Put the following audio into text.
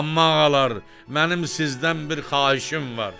Amma ağalar, mənim sizdən bir xahişim var: